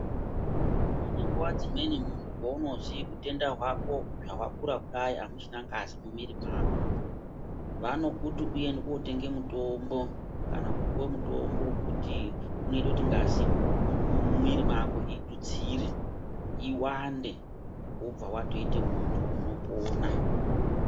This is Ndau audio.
Pane nguwa dzimweni muntu paunozwi utenda hwako hawakura kudai amuchina ngazi mumwiri mwako, vanokuti uende kotenge mutombo kana kupuwe mutombo wekuti unoite kuti ngazi mumwiri mwako itutsire, iwande, wobva watoite muntu unopona.